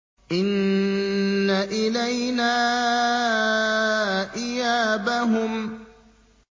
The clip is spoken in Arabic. إِنَّ إِلَيْنَا إِيَابَهُمْ